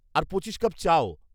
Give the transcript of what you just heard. আর পঁচিশ কাপ চাও।